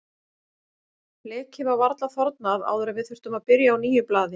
Blekið var varla þornað áður en við þurftum að byrja á nýju blaði.